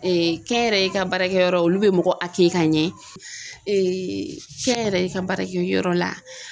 kɛnyɛrɛye ka baarakɛyɔrɔ olu bɛ mɔgɔ ka ɲɛ kɛnyɛrɛye ka baara kɛ yɔrɔ la